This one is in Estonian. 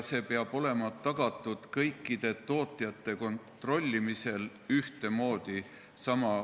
Seda peab tagama kõikide tootjate kontrollimisel ühtemoodi.